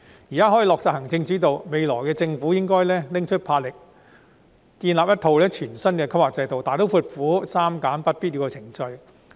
現時行政主導得以落實，未來政府應該拿出魄力，建立一套全新的規劃制度，大刀闊斧地刪減不必要的程序。